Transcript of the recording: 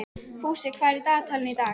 Fúsi, hvað er í dagatalinu í dag?